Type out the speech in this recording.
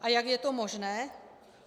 A jak je to možné?